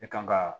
E kan ka